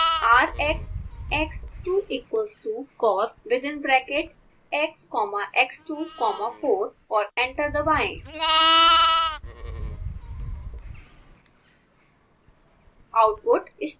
type करें r x x two equals to corr within bracket x comma x two comma four और enter दबाएँ